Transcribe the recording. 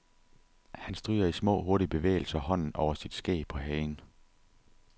Han stryger i små hurtige bevægelser hånden over sit skæg på hagen.